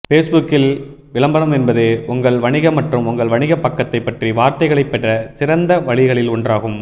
பேஸ்புக்கில் விளம்பரம் என்பது உங்கள் வணிக மற்றும் உங்கள் வணிகப் பக்கத்தைப் பற்றி வார்த்தைகளைப் பெற சிறந்த வழிகளில் ஒன்றாகும்